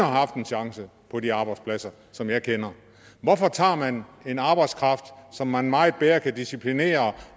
haft en chance på de arbejdspladser som jeg kender hvorfor tager man en arbejdskraft som man meget lettere kan disciplinere